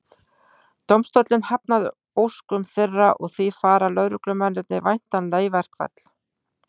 Dómstóllinn hafnaði óskum þeirra og því fara lögreglumennirnir væntanlega í verkfall.